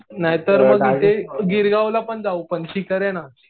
नाहीतर मग इथे गिरगावला पण जाऊ. चिकन आहे ना.